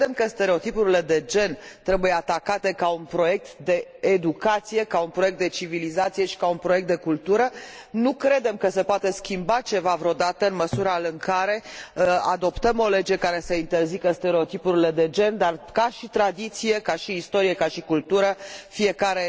Credem că stereotipurile de gen trebuie atacate ca un proiect de educație, ca un proiect de civilizație și ca un proiect de cultură. Nu credem că se poate schimba ceva vreodată, în măsura în care adoptăm o lege care să interzică stereotipurile de gen, dar, ca și tradiție, ca și istorie, ca și cultură, fiecare